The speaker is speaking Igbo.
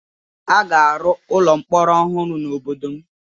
A ga-arụ ụlọ mkpọrọ ọhụrụ n'obodo m